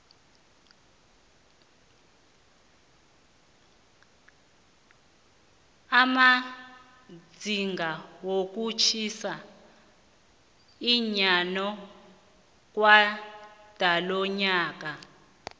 amazinga wokutjhisa eyanokwandalonyaka